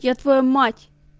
я твою мать